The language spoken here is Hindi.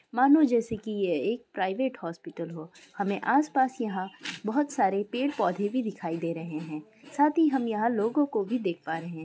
मानो जैसे कि ये एक प्राइवेट हॉस्पिटल हो। हमें आस पास यहाँ बहुत सारे पेड़ पौधे भी दिखाई दे रहे है। साथ ही हम यहाँ लोगों को भी देख पा रहे है।